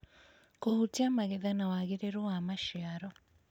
kũhutia magetha na wagĩrĩru wa maciaro.